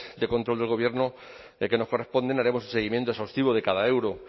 de control del gobierno que nos corresponden haremos un seguimiento exhaustivo de cada euro